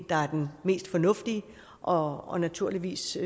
der er den mest fornuftige og og naturligvis